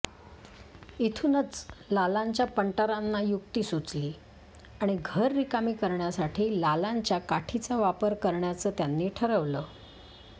इथूनच लालांच्या पंटरांना युक्ती सुचली आणि घर रिकामी करण्यासाठी लालांच्या काठीचा वापर करण्याचं त्यांनी ठरवलं